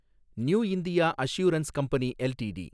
new India Assurance Company LTD